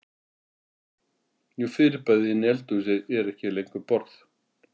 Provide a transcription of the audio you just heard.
Jú fyrirbærið inni í eldhúsi er ekki lengur borð.